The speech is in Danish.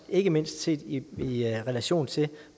ikke mindst set i i relation til